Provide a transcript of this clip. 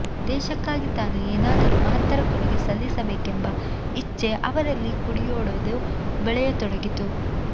ದೇಶಕ್ಕಾಗಿ ತಾನು ಏನಾದರೂ ಮಹತ್ತರ ಕೊಡುಗೆ ಸಲ್ಲಿಸಬೇಕೆಂಬ ಇಚ್ಛೆ ಅವರಲ್ಲಿ ಕುಡಿಯೊಡೆದು ಬೆಳೆಯತೊಡಗಿತು